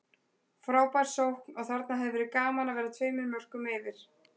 Frábær sókn og þarna hefði verið gaman að vera tveimur mörkum yfir.